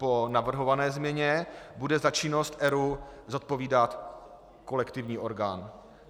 Po navrhované změně bude za činnost ERÚ zodpovídat kolektivní orgán.